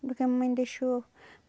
Do que a mamãe deixou.